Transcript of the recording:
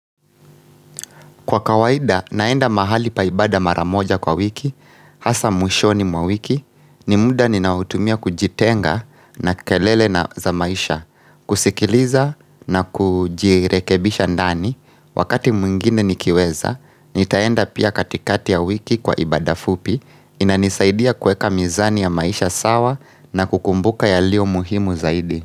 Kwa kawaida, naenda mahali pa ibaada mara moja kwa wiki, hasa mwishoni mwa wiki, ni muda ninaotumia kujitenga na kelele na za maisha, kusikiliza na kujirekebisha ndani, wakati mwingine nikiweza, nitaenda pia katikati ya wiki kwa ibada fupi, inanisaidia kueka mizani ya maisha sawa na kukumbuka yalio muhimu zaidi.